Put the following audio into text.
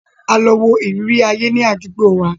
A lọ wó ìrírí ayé ní àdúgbò wa.